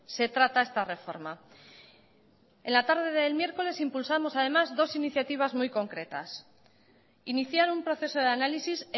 se trata esta reforma en la tarde del miércoles impulsamos además dos iniciativas muy concretas iniciar un proceso de análisis